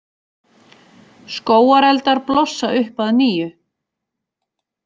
Skógareldar blossa upp að nýju